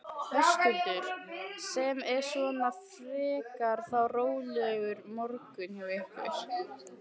Höskuldur: Sem er svona frekar þá rólegur morgunn hjá ykkur?